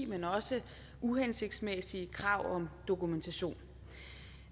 men også uhensigtsmæssige krav om dokumentation